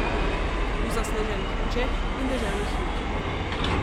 V zasneženih nočeh in deževnih jutrih.